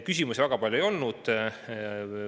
Küsimusi väga palju ei olnud.